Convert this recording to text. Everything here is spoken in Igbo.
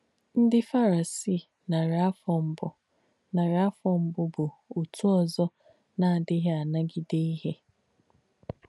Ndí Fàrìsìì nàrí àfọ̀ mbù nàrí àfọ̀ mbù bù ọ̀tù òzọ̀ nà-àdíghì ànagídē íhe.